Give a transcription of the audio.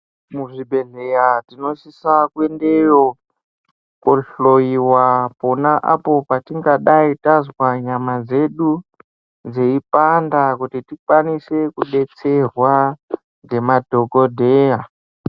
Muzvibhedhleya tinosisa kuendeyo kohloyiwa pona apo patingadai tazwa nyama dzedu dzeipanda kuti tikwanise kudetserwa ngemadhokodheya.